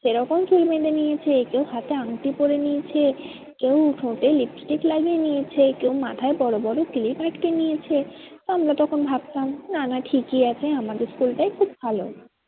সেরকম চুল বেঁধে নিয়েছে কেউ হাতে আঙটি পরে নিয়েছে কেউ ঠোঁটে lipstick লাগিয়ে নিয়েছে কেউ মাথায় বড়ো বড়ো ক্লিপ আটকে নিয়েছে। আমরা তখন ভাবতাম নানা ঠিকই আছে আমাদের school টাই খুব ভালো